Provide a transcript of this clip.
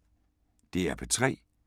DR P3